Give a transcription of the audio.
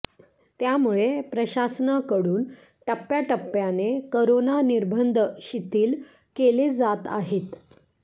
त्यामुळे प्रशासनाकडून टप्प्याटप्याने करोना निर्बंध शिथिल केले जात आहेत